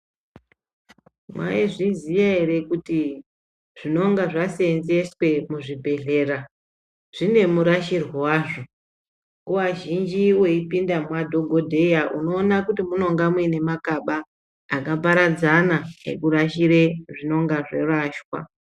Mwaizviziya ere kuti zvinonga zvaseenzeswe muzvibhedhlera zvine murashirwe wazvo , nguwa zhinji weipinde mwadhogodheya munoona kuti munonga muine makaba akaparadzana ekurashire zvinonga zvarashwa.